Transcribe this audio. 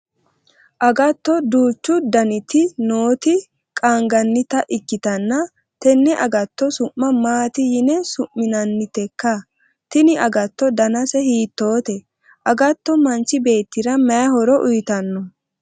agatto duuchu daniti nooti qaangannita ikkitanna tenne agatto su'ma maati yine su'minannitekka? tini agatto danase hiittoote? agatto manchi beettira maayi horo uyiitanno?